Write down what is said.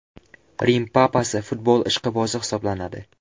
Rim Papasi futbol ishqibozi hisoblanadi.